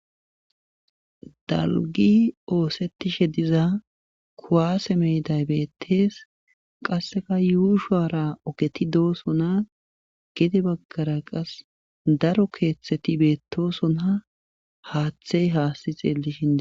Dalgi oosettishe diza kuwaase meyday bettees qasseka yuushara oketi doosona gede baggara qas daro keeththeti beettosona haaththey haasti xeelli shindi.